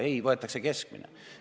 Ei, võetakse keskmine.